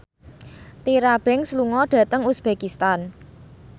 Tyra Banks lunga dhateng uzbekistan